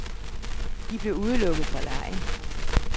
De blev udelukket fra legen.